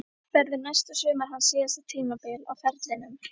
Verður næsta sumar hans síðasta tímabil á ferlinum?